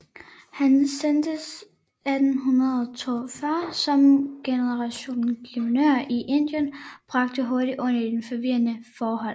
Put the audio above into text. Han sendtes 1842 som generalguvernør til Indien og bragte hurtig orden i dets forvirrede forhold